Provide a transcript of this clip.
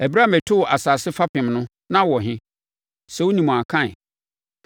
“Ɛberɛ a metoo asase fapem no, na wowɔ he? Sɛ wonim a, ka ɛ.